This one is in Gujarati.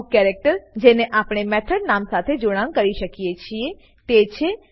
અમુક કેરેક્ટર જેને આપણે મેથોડ નામ સાથે જોડાણ કરી શકીએ છીએ તે છે